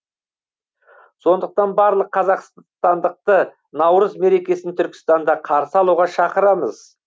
сондықтан барлық қазақстандықты наурыз мерекесін түркістанда қарсы алуға шақырамыз